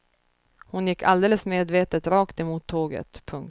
Hon gick alldeles medvetet rakt emot tåget. punkt